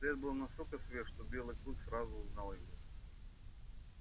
след был настолько свеж что белый клык сразу узнал его